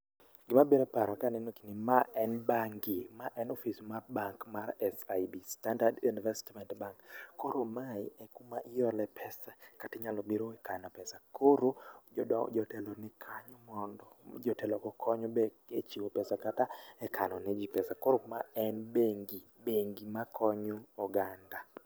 Gima biro e paro ka aneno gini ,ma en bangi, ma en office mar bank mar SIB, Standard Investment Bank. Koro mae e kuma iole pesa kata inyalo biro ikano pesa. Koro, jotelo ni kanyo mondo jotelogo okony be e chiwo pesa kata e kanone ji pesa. Koro ma en bengi, bengi makonyo oganda.